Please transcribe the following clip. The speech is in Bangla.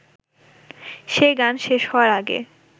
সে গান শেষ হওয়ার আগে